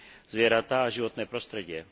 zvieratá a životné prostredie.